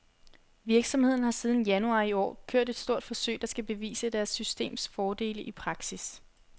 Virksomheden har siden januar i år kørt et stort forsøg, der skal bevise deres systems fordele i praksis.